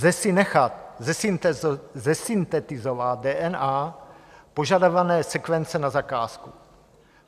Lze si nechat zesyntetizovat DNA požadované sekvence na zakázku.